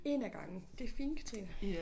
1 ad gangen det fint Katrine